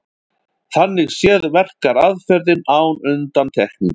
Þannig séð verkar aðferðin án undantekningar.